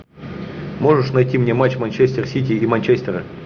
можешь найти мне матч манчестер сити и манчестера